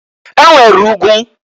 E nwere ugwu.